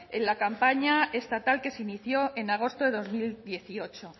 en la campaña estatal que se inició en agosto de dos mil dieciocho